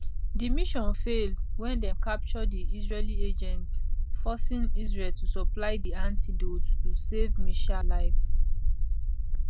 di mission fail wen dem capture di israeli agents forcing israel to supply di antidote to save meshaal life